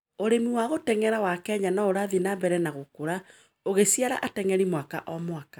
Ũrĩmi wa gũteng'era wa Kenya no ũrathiĩ na mbere na gũkũra, ũgĩciara ateng'eri mwaka o mwaka.